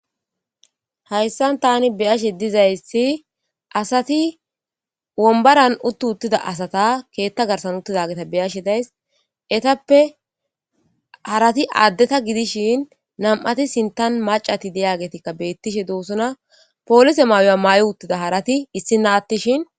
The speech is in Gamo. Hayssan tan beishe dizayssi asati wonbaran uti utida asata keththa garssan utidageta beashe daysi eteppe harati adeta gidishin nam7ati sinththan macati diyagetika betishshe dossona pollise maayo mayi utida harati issina atishin.